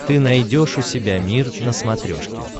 ты найдешь у себя мир на смотрешке